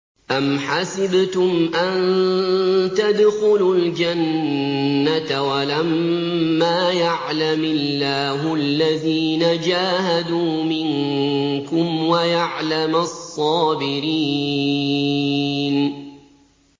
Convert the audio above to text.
أَمْ حَسِبْتُمْ أَن تَدْخُلُوا الْجَنَّةَ وَلَمَّا يَعْلَمِ اللَّهُ الَّذِينَ جَاهَدُوا مِنكُمْ وَيَعْلَمَ الصَّابِرِينَ